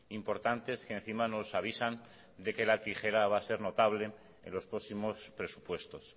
importantes que encima nos avisan de que la tijera va a ser notable en los próximos presupuestos